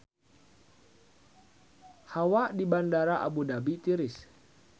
Hawa di Bandara Abu Dhabi tiris